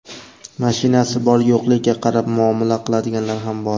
mashinasi bor-yo‘qligiga qarab muomala qiladiganlari ham bor.